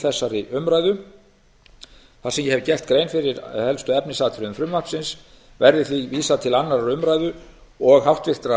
þessari umræðu þar sem ég hef gert grein fyrir helstu efnisatriðum frumvarpsins verði því vísað til annarrar umræðu og háttvirtrar